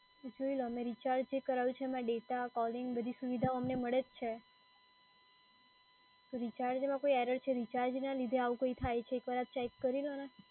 જોઈએ લો અમે રિચાર્જ જે કરાયું છે એમાં ડેટા, કોલિંગ બધી સુવિધા અમને મળે જ છે. રિચાર્જમાં કોઈ error છે? રિચાર્જના લીધે આવું કોઈ થાય છે? એક વાર આપ ચેક કરી લો ને.